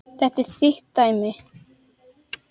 Þetta er þitt dæmi.